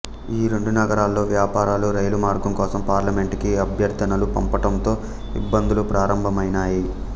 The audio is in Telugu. ఈ రెండు నగరాల్లో వ్యాపారులు రైలు మార్గం కోసం పార్లమెంట్ కి అభ్యర్థనలు పంపటంతో ఇబ్బందులు ప్రారంభమైనాయి